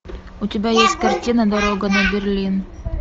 у тебя есть картина дорога на берлин